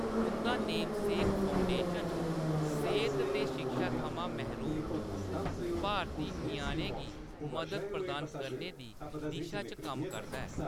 उंʼदा Namesake Foundation सेहत ते शिक्षा थमां मैहरूम भारती ञ्याणें गी मदद प्रदान करने दी दिशा च कम्म करदा ऐ।